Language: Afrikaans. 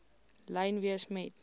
lyn wees met